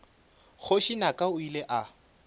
kgoši naka o ile a